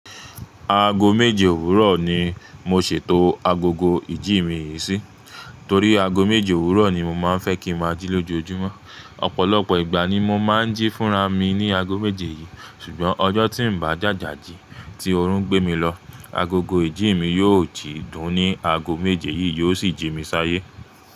Aago méje òwúrọ̀ ni mo ṣètò agogo ìjí mi yìí sí, torí aago méje òwúrọ̀ ni mo máa ń fẹ́ kí ń máa jí lójoojúmọ́. Ọ̀pọ̀lọpọ̀ ìgbà ni mo máa ń jí fúnra mi ní aago méje yìí, ṣùgbọ́n ọjọ́ tí ń bá jàjà jí tí oorun gbé mi lọ, agogo ìjí mi yóò ti dùn-ún ní aago méje yìí, yóò sì jí mi sáyé.